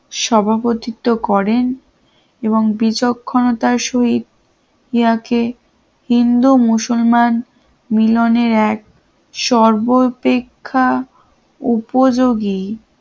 সভাপতি তো করেন এবং বিচক্ষণতার সহিত জিয়াকে হিন্দু-মুসলমান মিলনের এক সর্বাপেক্ষা উপযোগী